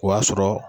O y'a sɔrɔ